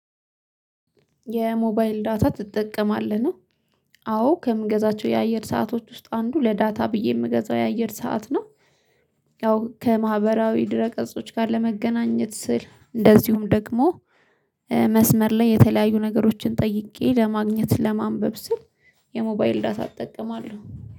የሞባይል ዳታ ትጠቀማለህ ነው? አዎ ከምገዛቸው የአየር ሰአቶች ውስጥ አንዱ ለዳታ ብዬ የምገዛው የአየር ሰዓት ነው። ያው ከማህበራዊ ድረ ቀጾች ጋር ለመገናኘት ስል እንደዚሁም ደግሞ መስመር ላይ የተለያዩ ነገሮችን ጠይቄ ለማግኘት ለማንበብ ስል የሞባይል ዳሳ እጠቀማለሁ